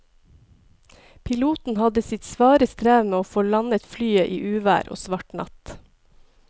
Piloten hadde sitt svare strev med å få landet flyet i uvær og svart natt.